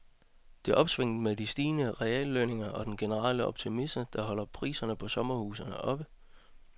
Det er opsvinget med de stigende reallønninger og den generelle optimisme, der holder priserne på sommerhuse oppe.